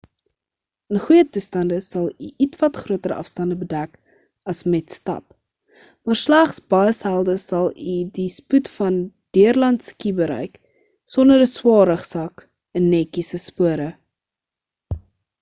in goeie toestande sal u ietwat groter afstande bedek as met stap maar slegs baie selde sal u die spoed van deurland ski bereik sonder 'n swaar rugsak in netjiese spore